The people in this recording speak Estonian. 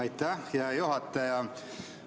Aitäh, hea juhataja!